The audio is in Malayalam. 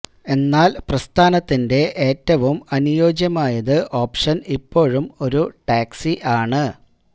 എന്നാൽ പ്രസ്ഥാനത്തിന്റെ ഏറ്റവും അനുയോജ്യമായത് ഓപ്ഷൻ ഇപ്പോഴും ഒരു ടാക്സി ആണ്